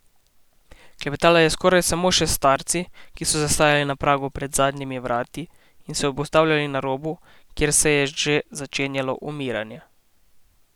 Klepetala je skoraj samo še s starci, ki so zastajali na pragu pred zadnjimi vrati in se obotavljali na robu, kjer se je že začenjalo umiranje.